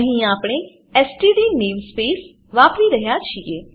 અહીં આપણે STD namespace વાપરી રહ્યા છીએ